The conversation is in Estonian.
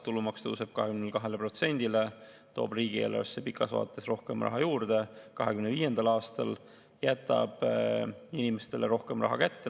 Tulumaks tõuseb 22%-le, toob riigieelarvesse pikas vaates rohkem raha juurde ja 2025. aastal jätab inimestele rohkem raha kätte.